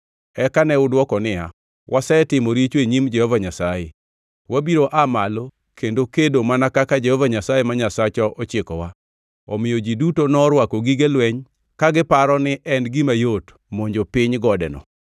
Eka ne udwoko niya, “Wasetimo richo e nyim Jehova Nyasaye. Wabiro aa malo kendo kedo mana kaka Jehova Nyasaye ma Nyasachwa ochikowa.” Omiyo ji duto norwako gige lweny ka giparo ni en gima yot monjo piny godeno.